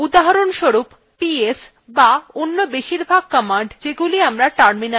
উদাহরণস্বরূপps ps অন্য বেশিরভাগ commands যেগুলি আমরা terminal চালাই